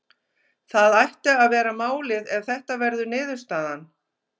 Það ætti að vera málið ef þetta verður niðurstaðan.